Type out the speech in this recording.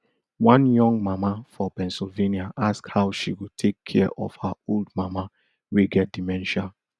one young mama for pennsylvania ask how she go take care of her old mama wey get dementia